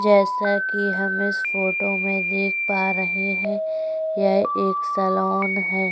जैसा कि हम इस फ़ोटो में देख पा रहै हैं यह एक सलोन हैं।